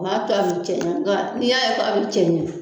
O b'a to a bɛ cɛɲa nga n'i y'a ye k'a bɛ cɛɲa